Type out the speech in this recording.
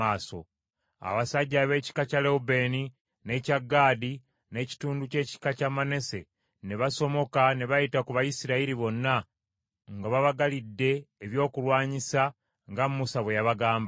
Awo abasajja ab’ekika kya Lewubeeni, n’ekya Gaadi, n’ekitundu ky’ekika kya Manase ne basomoka ne bayita ku Bayisirayiri bonna nga babagalidde ebyokulwanyisa nga Musa bwe yabagamba,